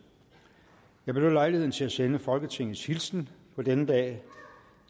jeg benytter lejligheden til at sende folketingets hilsen på denne dag